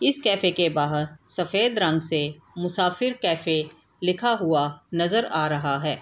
इस कैफे के बाहर सफेद रंग से मुसाफिर कैफे लिखा हुआ नजर आ रहा है।